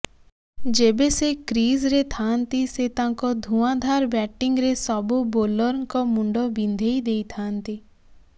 ଯେବେ ସେ କ୍ରିଜରେ ଥାଆନ୍ତି ସେ ତାଙ୍କ ଧୂଆଁଧାର ବ୍ୟାଟିଙ୍ଗରେ ସବୁ ବୋଲରଙ୍କ ମୁଣ୍ଡ ବିନ୍ଧେଇ ଦେଇଥାନ୍ତି